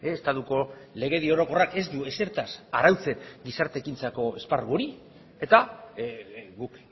estatuko legedi orokorrak ez du ezertaz arautzen gizarte ekintzako esparru hori eta guk